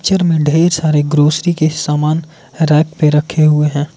चर में ढेर सारे गोष्टी के सामान रैक पे रखे हुए हैं।